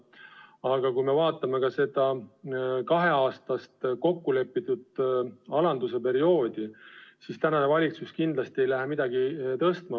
Aga kui me vaatame seda kaheaastast kokkulepitud alanduse perioodi, siis praegune valitsus kindlasti ei lähe midagi tõstma.